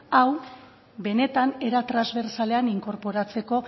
hau benetan era transbertzalean inkorporatzeko